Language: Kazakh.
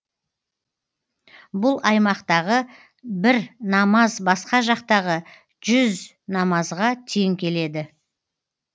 бұл аймақтағы бір намаз басқа жақтағы жүз намазға тең келеді